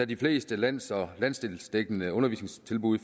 de fleste lands og landsdelsdækkende undervisningstilbud